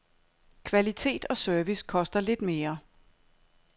Kvalitet og service koster lidt mere.